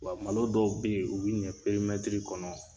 Wa malo dɔw be ye, u bi ɲɛ perimɛtiri kɔnɔ